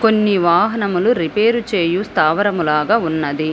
కొన్ని వాహనములు రిపేరు చేయు స్థావరములాగా ఉన్నది.